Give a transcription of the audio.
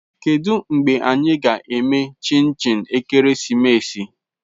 Kedu mgbe anyị ga-eme chinchi ekeresimesi?